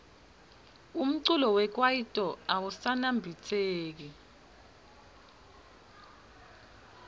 umculo wekaito awusaniabitseki